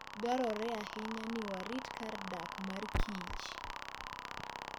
Dwarore ahinya ni warit kar dak mar kich.